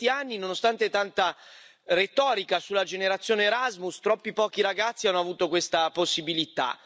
Ma in questi anni, nonostante tanta retorica sulla generazione Erasmus, troppi pochi ragazzi hanno avuto questa possibilità.